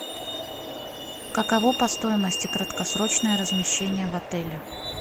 каково по стоимости краткосрочное размещение в отеле